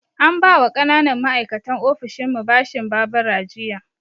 An ba wa ƙananan ma'aikatan ofishinmu bashin babura jiya